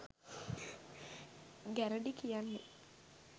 ගැරඬි කියන්නෙ